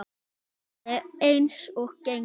Það er eins og gengur.